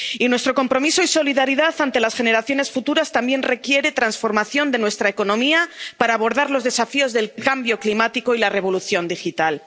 Nuestro compromiso y solidaridad ante las generaciones futuras también requiere la transformación de nuestra economía para abordar los desafíos del cambio climático y la revolución digital.